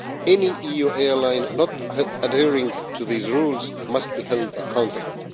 Any EU airline not adhering to these rules must be held accountable.